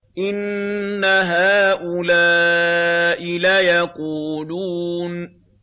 إِنَّ هَٰؤُلَاءِ لَيَقُولُونَ